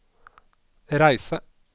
reise